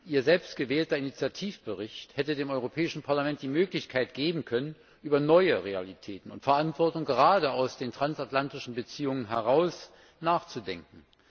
Ihr selbst gewählter Initiativbericht hätte dem Europäischen Parlament die Möglichkeit geben können, über neue Realitäten und Verantwortung, gerade aus den transatlantischen Beziehungen heraus, nachzudenken.